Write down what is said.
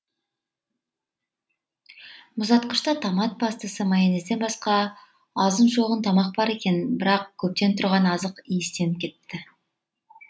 мұздатқышта томат пастасы майонезден басқа азын шоғын тамақ бар екен бірақ көптен тұрған азық иістеніп кетіпті